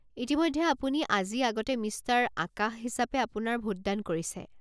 ইতিমধ্যে আপুনি আজি আগতে মিষ্টাৰ আকাশ হিচাপে আপোনাৰ ভোট দান কৰিছে।